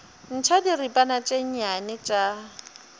ntšha diripana tše nnyane tša